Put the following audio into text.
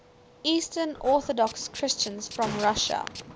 eastern orthodox christians from russia